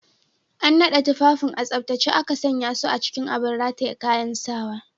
An naɗe tufafin a tsaftace aka sanya su a cikin abin rataye kayan sawa.